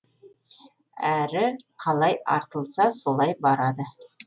әрі қалай артылса солай барады